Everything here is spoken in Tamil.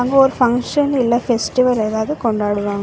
இங்க ஒரு ஃபங்ஷன் இல்ல ஃபெஸ்டிவல் எதாவது கொண்டாடுவாங்க‌.